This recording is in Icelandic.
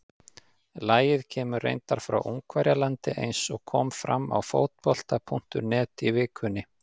Lagið kemur reyndar frá Ungverjalandi eins og kom fram á Fótbolta.net í vikunni.